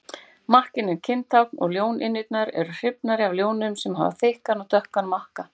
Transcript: Makkinn er kyntákn og ljónynjurnar eru hrifnari af ljónum sem hafa þykkan og dökkan makka.